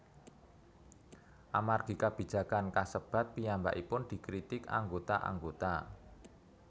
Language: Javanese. Amargi kabijakan kasebat piyambakipun dikritik anggota anggota